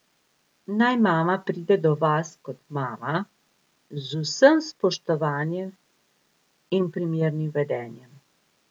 Naj mama pride do vas kot mama, z vsem spoštovanjem in primernim vedenjem.